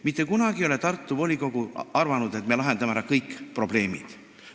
Mitte kunagi ei ole Tartu volikogu arvanud, et me lahendame ära kõik probleemid.